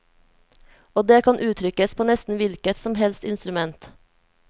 Og det kan uttrykkes på nesten hvilket som helst instrument.